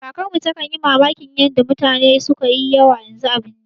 Kakarmu takan yi mamakin yanda mutane sukayi yawa yanzu a birni